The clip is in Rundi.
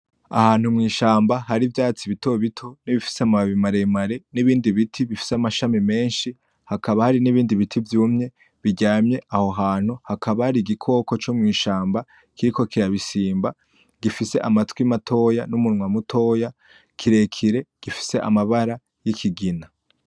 Ahantu mw'ishamba hari ivyatsi bitobito bifise amababi maremare , n'ibindi biti bifise amashami menshi , hakaba hari n'ibindi biti vyumye biryamye aho hantu , hakaba hari igikoko co mw'ishamba kiriko kirabisimba , gifise amatwi matoya n'umunwa mutoya, kirekire , gifise amabara y'ikigina.